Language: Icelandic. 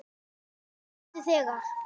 Mundu þegar